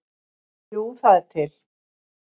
Jú, það er til.